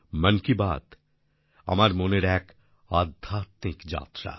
মন কি বাত আমার মনের এক আধ্যাত্মিক যাত্রা